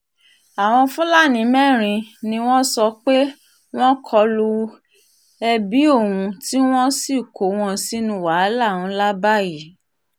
àwọn fúlàní mẹ́rin ni wọ́n sọ pé wọ́n kọlu ebi ohun tí wọ́n sì kó wọn sínú wàhálà ńlá báyìí